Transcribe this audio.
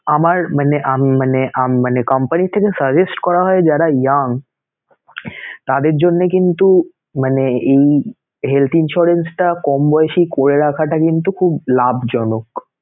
আমার মানে উম মানে উম মানে company থেকে suggest করা হয় যারা young তাদের জন্যে কিন্তু মানে এই health insurance টা কম বয়সী করে রাখাটা কিন্তু খুব লাভজনক